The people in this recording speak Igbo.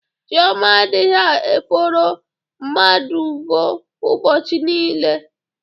Chioma adighi eforo mmadv ubochi niile.